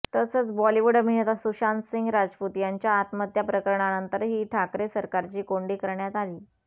तसंच बॉलिवूड अभिनेता सुशांतसिंह राजपूत याच्या आत्महत्या प्रकरणानंतरही ठाकरे सरकारची कोंडी करण्यात आली